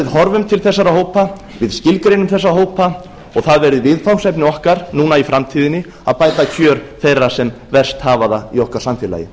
horfum til þessara hópa skilgreinum þá og það verði viðfangsefni okkar í framtíðinni að bæta kjör þeirra sem verst hafa það í okkar samfélagi